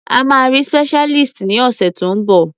A máa rí specialist ní ọ̀sẹ̀ tó ń bọ̀.